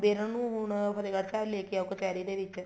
ਵੀ ਇਹਨਾ ਨੂੰ ਹੁਣ ਫਤਿਹਗੜ੍ਹ ਲੈਕੇ ਆਓ ਕਚਿਹਰੀ ਦੇ ਵਿੱਚ